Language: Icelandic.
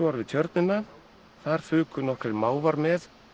tjörnina þar fuku nokkrir mávar með